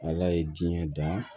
Ala ye diɲɛ dan